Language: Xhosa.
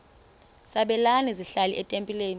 sabelani zenihlal etempileni